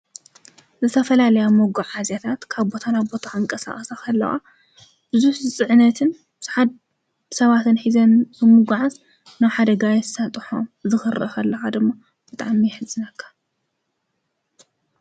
ዝተፈላለያ መጎዓዝያታት ካብቦታና ኣቦታዓ ኣንቀ ሠቐሳፈለዋ ብዙ ዝጽዕነትን ሰዓድ ሰባትን ኂዘ ምጕዓዝ ናው ሓደጋ የሳጥሖ ዝኽረፈለዓ ድሞ በጣም የሕዘነካ ።